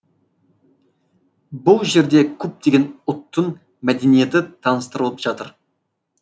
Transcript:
бұл жерде көптеген ұлттың мәдениеті таныстырылып жатыр